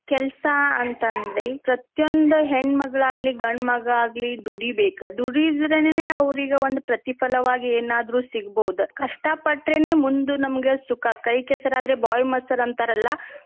ಕೆಲ್ಸಾ ಅಂತ ಅಂದ್ರೆ ಪ್ರತಿಯೊಂದ ಹೆಣ್ ಮಗಳಾಗ್ಲಿ ಗಂಡ ಮಗಾ ಆಗ್ಲಿ ದುಡಿಬೇಕ್. ದುಡಿದ್ರನೇ ಅವ್ರಿಗ್ ಒಂದ್ ಪ್ರತಿಫಲವಾಗಿ ಏನಾದ್ರು ಸಿಗ್ಬಹುದ. ಕಷ್ಟ ಪಟ್ರೆನೆ ಮುಂದ್ ನಮಗ ಸುಖ. ಕೈ ಕೆಸರಾದ್ರೆ ಬಾಯಿ ಮೊಸರ್ ಅಂತಾರಲ್ಲಾ.